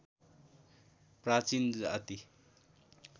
प्राचीन जाति